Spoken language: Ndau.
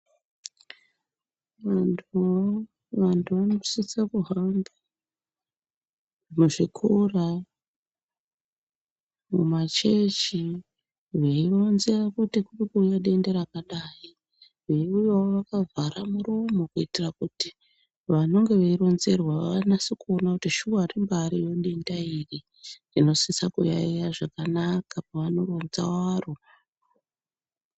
Vantu vanosise kuhamba muzvikora ,mumachechi veironza kuti kirikuuya denda rakadayi. Veiuyawo vakavhara muromo kuitira kuti vanenge veironzerwa vanase kuona kuti shuwa rimbaariyo denda iri. Tinosise kuyayeya zvakanaka pavanoronza waro.